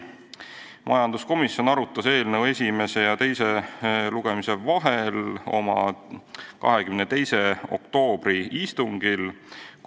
Majanduskomisjon arutas eelnõu esimese ja teise lugemise vahel oma 22. oktoobri istungil.